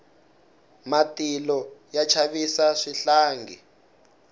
matilo ya chavisa swihlangi